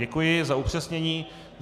Děkuji za upřesnění.